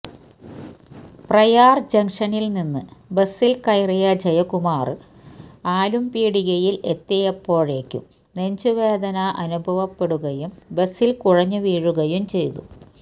പ്രയാര് ജംഗ്നില്നിന്ന് ബസില് കയറിയ ജയകുമാറിന് ആലുംപീടികയില് എത്തിയപ്പോഴേക്കും നെഞ്ചുവേദന അനുഭവപ്പെടുകയും ബസില് കുഴഞ്ഞുവീഴുകയും ചെയ്തു